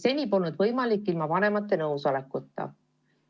Seni polnud see ilma vanemate nõusolekuta võimalik.